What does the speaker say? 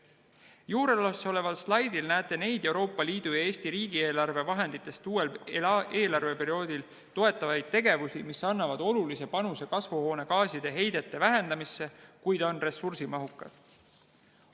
Juuresoleval slaidil näete neid Euroopa Liidu ja Eesti riigieelarve vahenditest uuel eelarveperioodil toetatavaid tegevusi, mis annavad olulise panuse kasvuhoonegaaside heidete vähendamisse, kuid on ressursimahukad.